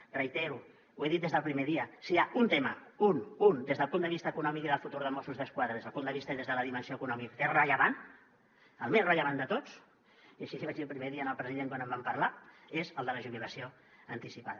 ho reitero ho he dit des del primer dia si hi ha un tema un un des del punt de vista econòmic i del futur de mossos d’esquadra des del punt de vista i des de la dimensió econòmica que és rellevant el més rellevant de tots i així li vaig dir el primer dia al president quan en vam parlar és el de la jubilació anticipada